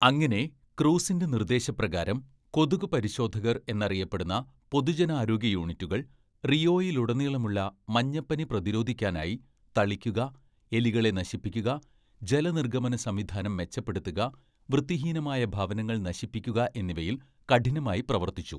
അങ്ങനെ, ക്രൂസിന്റെ നിർദ്ദേശപ്രകാരം, 'കൊതുകു പരിശോധകർ' എന്നറിയപ്പെടുന്ന പൊതുജനാരോഗ്യ യൂണിറ്റുകൾ, റിയോയിലുടനീളമുള്ള മഞ്ഞപ്പനി പ്രതിരോധിക്കാനായി തളിക്കുക, എലികളെ നശിപ്പിക്കുക, ജലനിര്‍ഗ്ഗമനസംവിധാനം മെച്ചപ്പെടുത്തുക, വൃത്തിഹീനമായ ഭവനങ്ങൾ നശിപ്പിക്കുക എന്നിവയിൽ കഠിനമായി പ്രവർത്തിച്ചു.